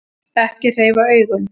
Ekki hreyfa augun.